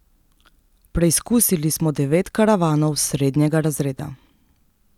Preizkusili smo devet karavanov srednjega razreda.